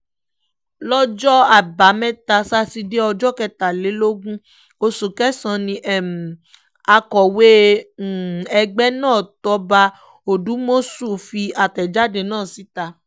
lọ́jọ́ àbámẹ́ta sátidé ọjọ́ kẹtàlélógún oṣù kẹsàn-án ni akọ̀wé ẹgbẹ́ náà tóbá òdùmọ̀ṣù fi àtẹ̀jáde náà síta